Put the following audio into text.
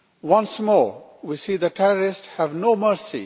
Once more, we see the terrorists have no mercy.